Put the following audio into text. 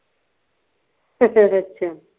ਅੱਛਾ